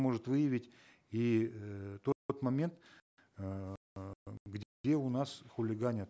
может выявить и э момент у нас хулиганят